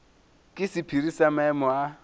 ke sephiri sa maemo a